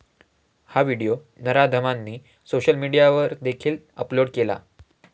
हा व्हिडिओ नराधमांनी सोशल मीडियावर देखील अपलोड केला.